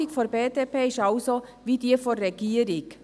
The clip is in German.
Die Haltung der BDP ist also wie jene der Regierung.